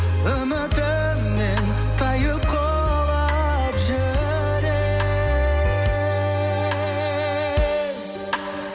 үмітімнен тайып құлап жүрек